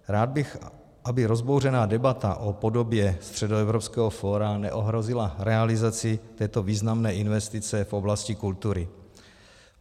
Rád bych, aby rozbouřená debata o podobě Středoevropského fóra neohrozila realizaci této významné investice v oblasti kultury.